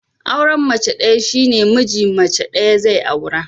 Auran mace ɗaya shine miji mace ɗaya zai aura